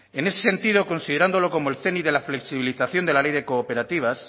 en ese sentido considerándolo como el zénit de la flexibilización de la ley de cooperativas